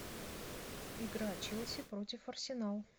игра челси против арсенал